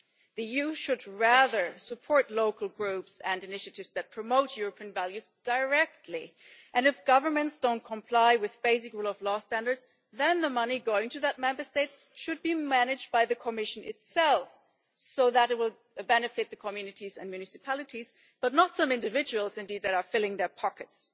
The EU should rather support local groups and initiatives that promote European values directly, and if governments don't comply with basic rule of law standards, then the money going to those Member States should be managed by the Commission itself so that it will benefit the communities and municipalities, but not some individuals, indeed, that are filling their pockets.